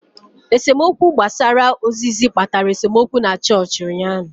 Esemokwu gbasara ozizi kpatara esemokwu na chọọchị ụnyaahụ.